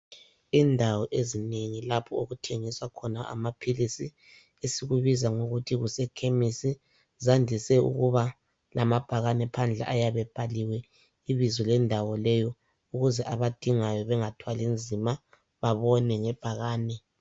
Indawo ezinengi lapho okuthengiswa khona amaphilisi esikubiza ngokuthi kusekhemisi zandise ukuba lamabhakane phandle ayabe ebhaliwe ibizo lendawo leyo ukuze abadingayo bengathwali nzima babone ngebhakane